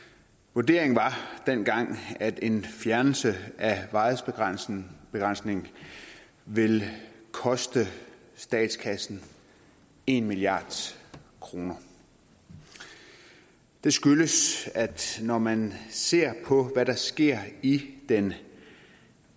vurderingen var dengang at en fjernelse af varighedsbegrænsningen ville koste statskassen en milliard kroner det skyldes at når man ser på hvad der sker i den